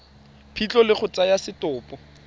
phitlho le go tsaya setopo